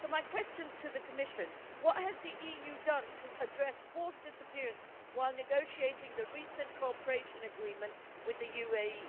So my question to the Commission is what has the EU done to address forced disappearances while negotiating the recent Cooperation Agreement with the UAE?